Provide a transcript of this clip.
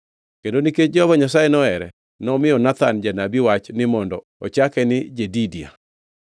kendo nikech Jehova Nyasaye nohere, nomiyo Nathan janabi wach ni mondo ochake ni Jedidia.